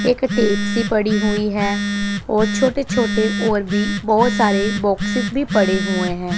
एक टेप सी पड़ी हुई है और छोटे छोटे और भी बोहोत सारे बॉक्सेस भी पड़े हुए है।